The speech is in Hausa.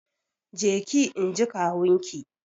Je ki! inji kawun ki.